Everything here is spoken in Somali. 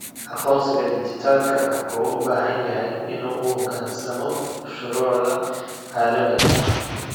Aqoonsiga dhijitaalka ah wuxuu u baahan yahay inuu u hoggaansamo shuruucda caalamiga ah.